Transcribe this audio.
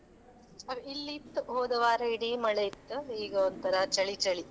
ಇಲ್ಲಿ ಇತ್ತು ಹೋದವಾರ ಇಡೀ ಮಳೆ ಇತ್ತು, ಈಗ ಒಂದ್ ತರ ಚಳಿ ಚಳಿ.